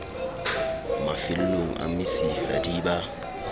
mafellong a mesifa di ba